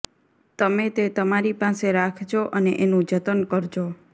તમે તે તમારી પાસે રાખજો અને એનું જતન કરજો